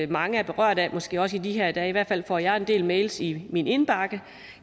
mange er berørte af måske også i de her dage i hvert fald får jeg en del mails i min indbakke